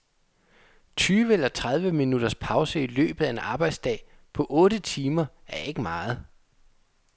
Tyve eller tredive minutters pause i løbet af en arbejdsdag på otte timer er ikke meget.